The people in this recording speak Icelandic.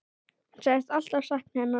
Hún sagðist alltaf sakna hennar.